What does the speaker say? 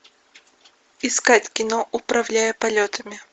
искать кино управляя полетами